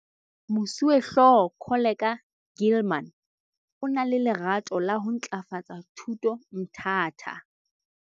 Moswehlooho Koleka Gilman o na le lerato la ho ntlafatsa thuto Mthatha.